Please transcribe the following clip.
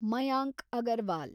Mayank Agarwal